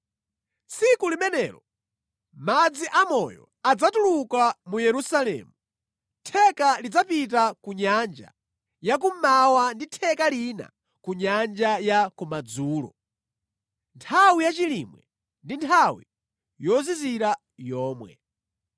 Tsiku limenelo madzi amoyo adzatuluka mu Yerusalemu, theka lidzapita ku nyanja ya kummawa ndipo theka lina ku nyanja ya kumadzulo, nthawi yachilimwe ndi nthawi yozizira yomwe.